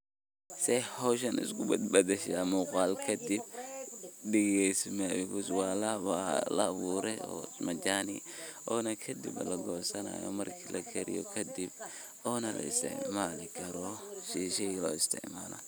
See hooshan iskubadashan muqalkan kadib degeyso marka wa la abuurtay majaani oo kadib la goysanayo marki lakariyoh, eyo kadib Oona la isticamali karoh sethi shah .